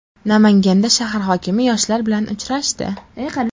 Namanganda shahar hokimi yoshlar bilan uchrashdi.